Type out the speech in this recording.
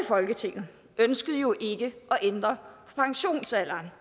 folketinget ønskede jo ikke at ændre pensionsalderen